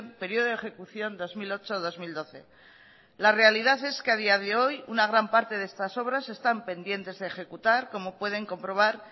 periodo de ejecución dos mil ocho dos mil doce la realidad es que a día de hoy una gran parte de estas obras están pendientes de ejecutar como pueden comprobar